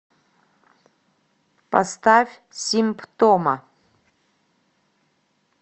поставь симптома